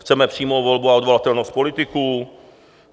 Chceme přímou volbu a odvolatelnost politiků.